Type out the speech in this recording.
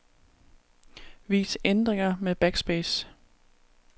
Vis ændringer med backspace.